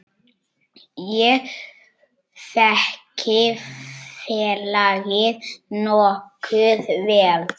Ég þekki félagið nokkuð vel.